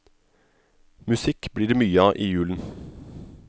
Musikk blir det mye av i julen.